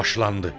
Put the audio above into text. Başlandı.